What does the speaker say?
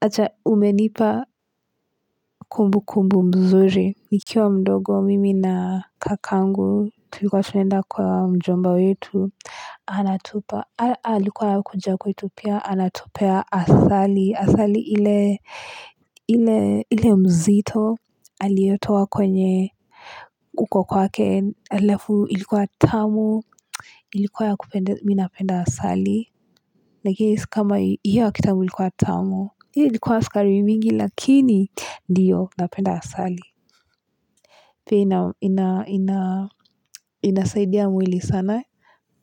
Acha umenipa kumbukumbu mzuri. Nikiwa mdogo mimi na kakangu tulikuwa tunenda kwa mjomba wetu. Anatupa. Alikuwa anakuja kwetu pia anatupea asali. Asali ile mzito. Aliotoa kwenye huko kwake. Alafu ilikuwa tamu. Ilikuwa ya kupende mi napenda asali. Lakini si kama hii hiyo yakitambo ilikuwa tamu. Hii ilikuwa askari mingi lakini ndiyo napenda asali inasaidia mwili sana